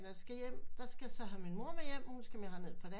Da jeg så skal hjem skal jeg have min mor med hej hun skal så være her et par dage